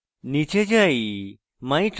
নীচে যাই